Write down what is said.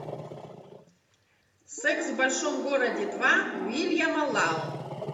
секс в большом городе два уильяма лау